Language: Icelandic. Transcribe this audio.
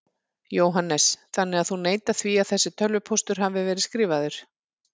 Jóhannes: Þannig að þú neitar því að þessi tölvupóstur hafi verið skrifaður?